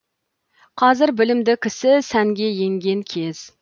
қазір білімді кісі сәнге енген кез